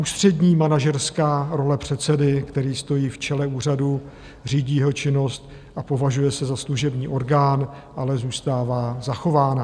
Ústřední manažerská role předsedy, který stojí v čele úřadu, řídí jeho činnost a považuje se za služební orgán, ale zůstává zachována.